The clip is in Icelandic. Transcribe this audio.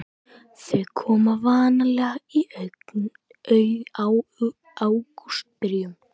Þau komu vanalega í ágústbyrjun.